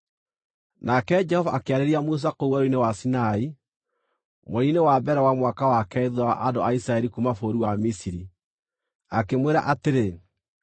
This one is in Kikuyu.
Nake Jehova akĩarĩria Musa kũu Werũ-inĩ wa Sinai mweri-inĩ wa mbere wa mwaka wa keerĩ thuutha wa andũ a Isiraeli kuuma bũrũri wa Misiri, akĩmwĩra atĩrĩ,